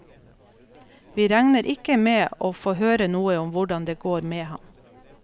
Vi regner ikke med å få høre noe om hvordan det går med ham.